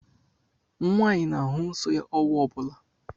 Nwaanyị na-ahụ nsọ ya ọnwa ọ bụla.